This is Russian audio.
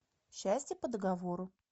счастье по договору